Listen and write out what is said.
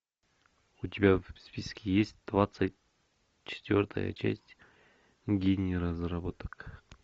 у тебя в списке есть двадцать четвертая часть гений разработок